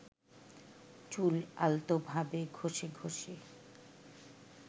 চুল আলতোভাবে ঘষে ঘষে